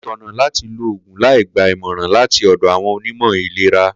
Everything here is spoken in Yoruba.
Kò tó̩nà láti lo ògùn láì gba ìmò̩ràn láti ò̩dò̩ àwo̩n onímò̩ ètò ìlera